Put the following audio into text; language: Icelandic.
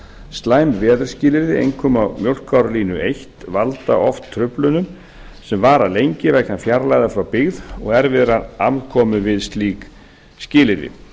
slæm veðurskilyrði einkum á mjólkárlínu eins valda oft truflunum sem vara lengi vegna fjarlægðar frá byggð og erfiðrar aðkomu við slík skilyrði